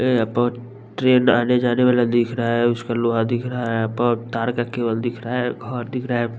ये यहाँ पर ट्रेन आने-जाने वाला दिख रहा है उसका लोहा दिख रहा है यहाँ पर तार का केबल दिख रहा है घर दिख रहा है।